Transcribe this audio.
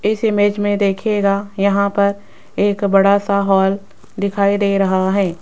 इस इमेज में देखिएगा यहां पर एक बड़ा सा हॉल दिखाई दे रहा है।